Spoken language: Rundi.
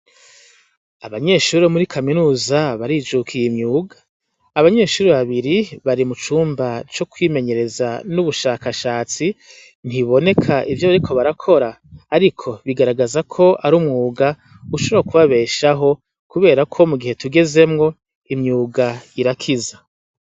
Abanyeshure bomuri kaminuza barijukiye imyuga abanyeshure babiri bari mucumba cokwimenyereza nubushakashatsi ntibiboneka ivyo bariko barakora ariko bigaragaza ko arumwuga ushobora kubabeshaho kuberako mugihe tugezemwo imyuga irakiza